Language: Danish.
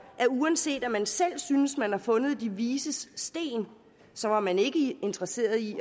at uanset at man selv synes at man har fundet de vises sten så var man ikke interesseret i